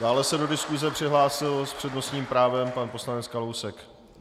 Dále se do diskuse přihlásil s přednostním právem pan poslanec Kalousek.